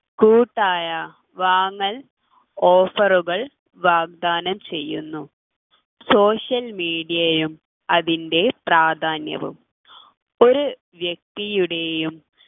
കൂട്ടായ വാങ്ങൽ offer കൾ വാഗ്ദാനം ചെയ്യുന്നു social media ഉം അതിൻ്റെ പ്രാധാന്യവും ഒരു വ്യക്തിയുടെയും